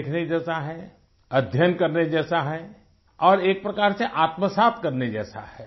देखने जैसा हैअध्ययन करने जैसा है और एक प्रकार से आत्मा साफ़ करने जैसा है